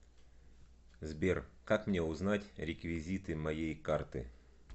сбер как мне узнать реквизиты моей карты